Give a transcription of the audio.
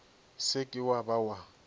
se ke wa ba wa